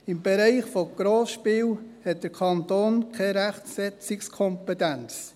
im Bereich der Grossspiele hat der Kanton keine Rechtsetzungskompetenz.